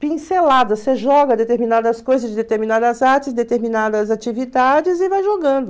Pincelada, você joga determinadas coisas de determinadas artes, determinadas atividades e vai jogando.